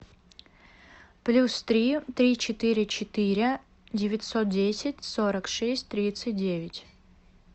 плюс три три четыре четыре девятьсот десять сорок шесть тридцать девять